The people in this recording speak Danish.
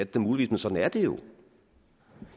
da muligvis men sådan er det jo